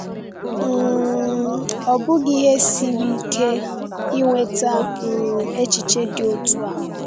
um Ọ bụghị ihe siri ike inweta um echiche dị otu a.